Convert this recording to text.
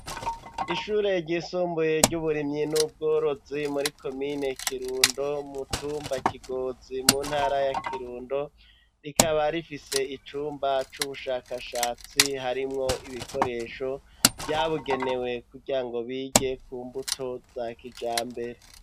Ishure ryisumbuye ry'uburimyi n'ubworozi muri komine Kirundo umutumba Kigozi mu ntara ya Kirundo rikaba rifise icumba c'ubushakashatsi harimwo ibikoresho vyabugenewe kugirango bige ku mbuto za kijambere.